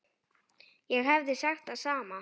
Ég hefði sagt það sama.